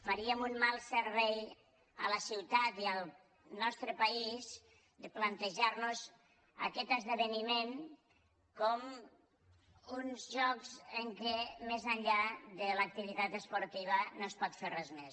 faríem un mal servei a la ciutat i al nostre país de plantejarnos aquest esdeveniment com uns jocs en què més enllà de l’activitat esportiva no es pot fer res més